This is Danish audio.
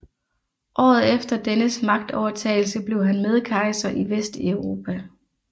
Året efter dennes magtovertagelse blev han medkejser i Vesteuropa